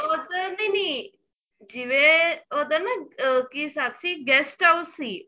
ਉੱਧਰ ਨੀਂ ਨੀਂ ਜਿਵੇਂ ਉੱਧਰ ਨਾ ਆ ਕੀ ਹਿਸਾਬ ਸੀ guest house ਸੀ